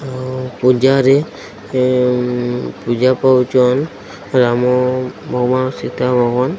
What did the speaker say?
ଉଁ ଉଁ ପୂଜାରେ ଉଁ ଉଁ ପୂଜା ପାଖକୁ ଚଲ୍ ଆମ ରାମସିତା ଭବନ --